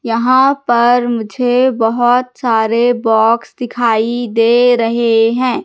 यहां पर मुझे बहुत सारे बॉक्स दिखाई दे रहे हैं।